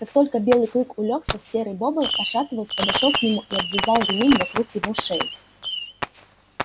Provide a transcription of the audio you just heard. как только белый клык улёгся серый бобр пошатываясь подошёл к нему и обвязал ремень вокруг его шеи